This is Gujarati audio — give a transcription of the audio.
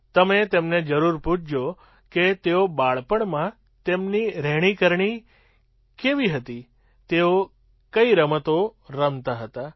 તમે તેમને જરૂર પૂછો કે તેઓ બાળપણમાં તેમની રહેણીકરણી કેવી હતી તેઓ કઈ રમતો રમતાં હતાં